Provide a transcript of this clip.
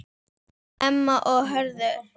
Emma og Hörður.